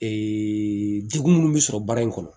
degun minnu bɛ sɔrɔ baara in kɔnɔ